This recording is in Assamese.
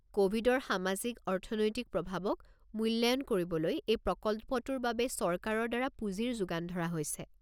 ক'ভিডৰ সামাজিক-অৰ্থনৈতিক প্ৰভাৱক মূল্যায়ন কৰিবলৈ এই প্ৰকল্পটোৰ বাবে চৰকাৰৰ দ্বাৰা পুঁজিৰ যোগান ধৰা হৈছে।